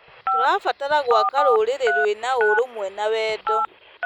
Tũrabatara gwaka rũrĩrĩ rwĩna ũrũmwe na wendo.